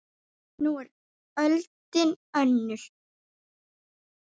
Nú er öldin önnur.